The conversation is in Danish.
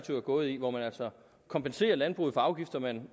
gået i hvor man altså kompenserer landbruget for afgifter man